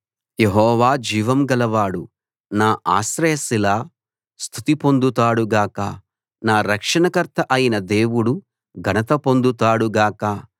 యెహోవా జీవం గలవాడు నా ఆశ్రయశిల స్తుతి పొందుతాడు గాక నా రక్షణకర్త అయిన దేవుడు ఘనత పొందుతాడు గాక